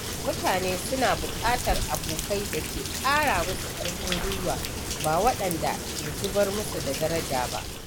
Mutane suna buƙatar abokai da ke ƙara musu ƙarfin gwiwa ba waɗanda ke zubar musu daraja ba.